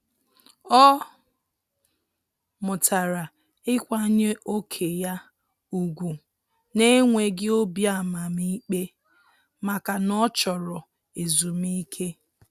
Ọ́ mụ́tàrà íkwànyé ókè ya ùgwù n’énwéghị́ obi amamikpe màkà na ọ́ chọ́rọ́ ezumike.